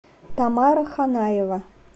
тамара ханаева